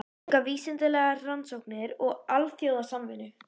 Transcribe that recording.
Að auka vísindalegar rannsóknir og alþjóðasamvinnu.